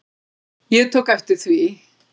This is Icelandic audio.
Ég tók eftir því.